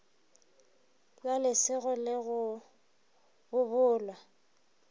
la lesego le go bobola